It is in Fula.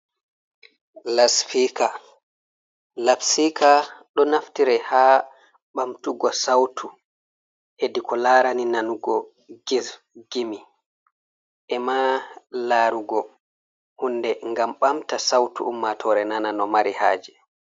Laspika, lapsika ɗo naftire ha bamtugo sautu hedi ko larani nanugo gefe gimi, e ma larugo hunde ngam ɓamta sautu ummatore nana no mari haje.